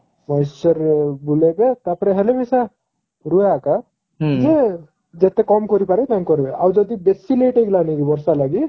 moisture ବୁଲେଇବା ତାପରେ ହେଲେ ମି ସା ଯେ ଯେତେ କମ କରିପାରିବେ ତାଙ୍କେ କରିବେ ଆଉ ଯଦି ବେଶି late ହେଇଗଲାନି କି ବର୍ଷା ଲାଗି